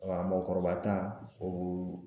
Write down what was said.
mɔgɔkɔrɔba ta o